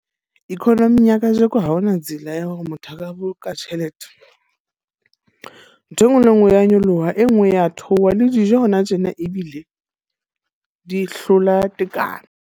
Economy ya kajeko ha ho na tsela ya hore motho a ka boloka tjhelete. Ntho e nngwe le e nngwe e ya nyoloha, e nngwe ya theoha. Le dijo hona tjena ebile di hlola tekano.